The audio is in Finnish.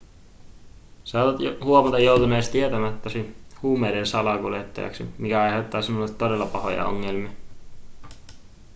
saatat huomata joutuneesi tietämättäsi huumeiden salakuljettajaksi mikä aiheuttaa sinulle todella pahoja ongelmia